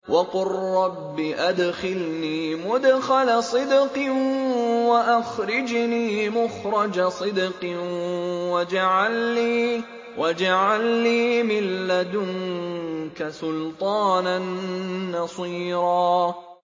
وَقُل رَّبِّ أَدْخِلْنِي مُدْخَلَ صِدْقٍ وَأَخْرِجْنِي مُخْرَجَ صِدْقٍ وَاجْعَل لِّي مِن لَّدُنكَ سُلْطَانًا نَّصِيرًا